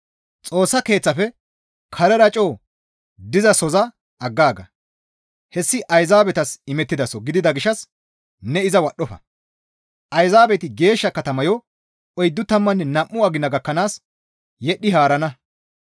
Xoossa Keeththaafe karera coo dizasoza aggaaga; hessi Ayzaabetas imettidaso gidida gishshas ne iza wadhdhofa; ayzaabeti geeshsha katamayo oyddu tammanne nam7u agina gakkanaas yedhdhi haarana.